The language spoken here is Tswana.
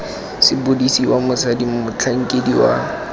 sepodisi wa mosadi motlhankedi wa